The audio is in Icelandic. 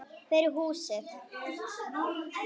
Fyrir húsið.